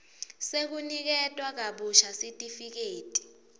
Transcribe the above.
sekuniketwa kabusha sitifiketi